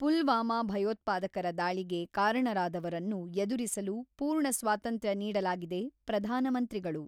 ಪುಲ್ವಾಮಾ ಭಯೋತ್ಪಾದಕರ ದಾಳಿಗೆ ಕಾರಣರಾದವರನ್ನು ಎದುರಿಸಲು ಪೂರ್ಣ ಸ್ವಾತಂತ್ರ್ಯ ನೀಡಲಾಗಿದೆ ಪ್ರಧಾನ ಮಂತ್ರಿಗಳು.